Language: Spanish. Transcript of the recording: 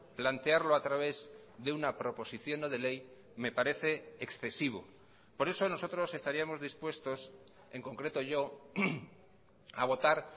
plantearlo a través de una proposición no de ley me parece excesivo por eso nosotros estaríamos dispuestos en concreto yo a votar